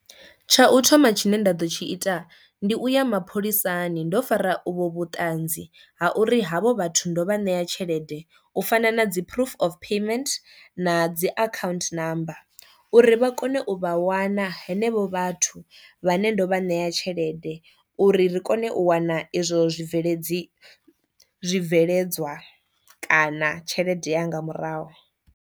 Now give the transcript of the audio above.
Tsha u thoma tshine nda ḓo tshi ita ndi u ya mapholisani ndo fara uvho vhutanzi ha uri havho vhathu ndo vha ṋea tshelede u fana na dzi proof of payment na dzi account number uri vha kone u vha wana henevho vhathu vhane ndo vha ṋea tshelede uri ri kone u wana izwo zwibveledzi zwibveledzwa kana tshelede yanga murahu.